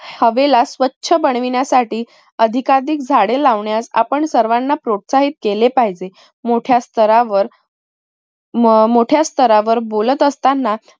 हवेला स्वछ बनविण्यासाठी अधिकाधिक झाडे लावण्यात आपण सर्वांना प्रोत्साहित केले पाहिजे. मोठया स्तरावर म मोठया स्तरावर बोलत असतांना